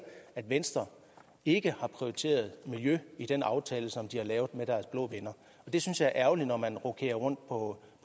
at venstre ikke har prioriteret miljø i den aftale som de har lavet med deres blå venner det synes jeg er ærgerligt når man rokerer rundt på